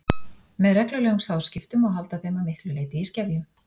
með reglulegum sáðskiptum má halda þeim að miklu leyti í skefjum